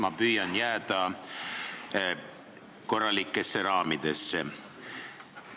Ma püüan jääda korralikesse raamidesse.